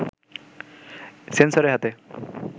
সেন্সরের হাতে